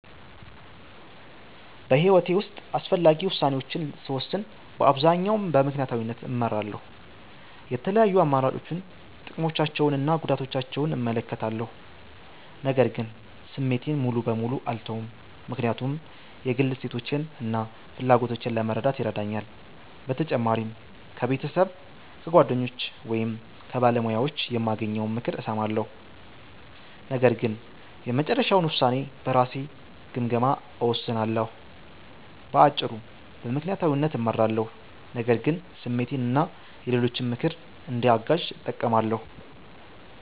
በሕይወቴ ውስጥ አስፈላጊ ውሳኔዎችን ስወስን በአብዛኛው በምክንያታዊነት እመራለሁ። የተለያዩ አማራጮችን፣ ጥቅሞቻቸውን እና ጉዳቶቻቸውን እመለከታለሁ። ነገር ግን ስሜቴን ሙሉ በሙሉ አልተውም፣ ምክንያቱም የግል እሴቶቼን እና ፍላጎቶቼን ለመረዳት ይረዳኛል። በተጨማሪም ከቤተሰብ፣ ከጓደኞች ወይም ከባለሙያዎች የማገኘውን ምክር እሰማለሁ፣ ነገር ግን የመጨረሻውን ውሳኔ በራሴ ግምገማ እወስናለሁ። በአጭሩ፣ በምክንያታዊነት እመራለሁ፣ ነገር ግን ስሜትን እና የሌሎችን ምክር እንደ አጋዥ እጠቀማለሁ።